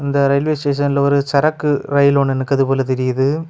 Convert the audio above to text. இந்த ரயில்வே ஸ்டேஷன்ல ஒரு சரக்கு ரயில் ஒன்னு நிக்குது போல தெரியுது.